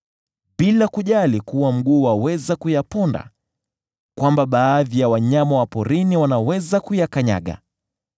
bila kujali kuwa mguu waweza kuyaponda, kwamba baadhi ya wanyama wa porini wanaweza kuyakanyaga.